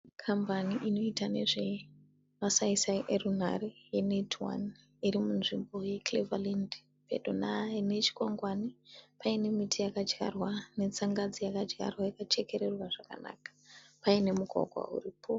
Kambani inoita nezvemasaisai erunhare e netone irimunzvimbo ye Cleveland, pedona ne chikwangwani. Paine miti yakadyarwa netsangadzi yakadyarwa yakachekererwa zvakanaka. Paine mugwagwa iripo.